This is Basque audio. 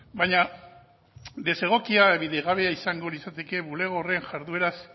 baina desegokia edo bidegabea izango litzateke bulego horren jardueraz